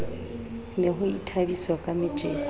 ne ho ithabiswa ka metjeko